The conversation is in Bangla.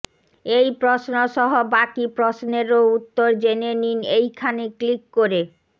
এই প্রশ্ন সহ বাকি প্রশ্নেরও উত্তর জেনে নিন এইখানে ক্লিক করে